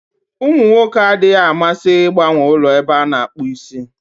Ụmụ nwoke adịghị amasị ịgbanwe ụlọ ebe a na-akpụ isi.